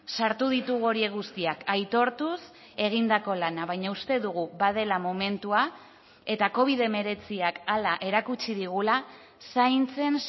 sartu ditugu horiek guztiak aitortuz egindako lana baina uste dugu badela momentua eta covid hemeretziak hala erakutsi digula zaintzen